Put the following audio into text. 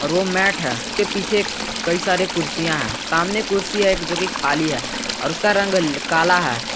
और वो मैट है के पीछे कई सारे कुर्सियां हैं सामने कुर्सी है एक जो की खाली है और उसका रंग काला है।